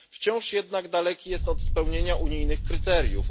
Wciąż jednak daleki jest od spełnienia unijnych kryteriów.